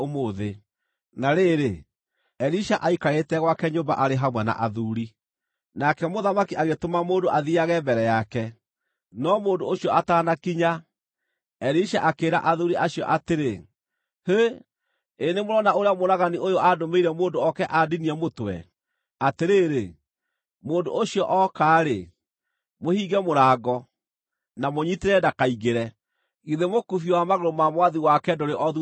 Na rĩrĩ, Elisha aikarĩte gwake nyũmba arĩ hamwe na athuuri. Nake mũthamaki agĩtũma mũndũ athiiage mbere yake, no mũndũ ũcio ataanakinya, Elisha akĩĩra athuuri acio atĩrĩ, “Hĩ! Ĩĩ nĩmũrona ũrĩa mũũragani ũyũ andũmĩire mũndũ oke andinie mũtwe? Atĩrĩrĩ, mũndũ ũcio ooka-rĩ, mũhinge mũrango, na mũũnyiitĩrĩre ndakaingĩre. Githĩ mũkubio wa magũrũ ma mwathi wake ndũrĩ o thuutha wake?”